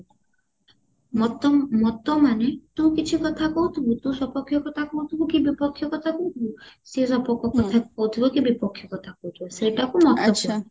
ମତ ମତ ମାନେ ତୁ କିଛି କଥା କହୁଥିବୁ ତୁ ସପକ୍ଷ୍ୟ କଥା କହୁଥିବୁ କି ବିପକ୍ଷ୍ୟ କଥା କହୁଥିବୁ ସିଏ ସପକ୍ଷ୍ୟ କଥା କହୁଥିବା କି ବିପକ୍ଷ୍ୟ କଥା କହୁଥିବ ସେଇଟାକୁ ମତ କହନ୍ତି